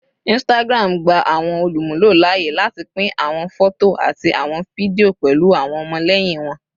Instagram gba awọn olumulo laaye lati pin awọn fọto ati awọn fidio pẹlu awọn ọmọlẹyin wọn